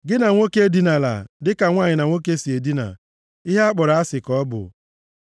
“ ‘Gị na nwoke edinala, dịka nwanyị na nwoke si edina. Ihe akpọrọ asị ka ọ bụ.